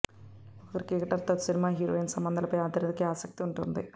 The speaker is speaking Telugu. ఒక క్రికెటర్ తో సినిమా హీరోయిన్ సంబంధాలపై అందరికి ఆసక్తి ఉంటుంది